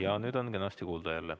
Jaa, nüüd on jälle kenasti kuulda.